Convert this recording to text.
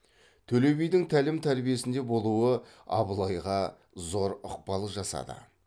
төле бидің тәлім тәрбиесінде болуы абылайға зор ықпал жасады